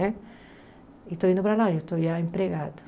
Né e estou indo para lá, eu estou já empregado.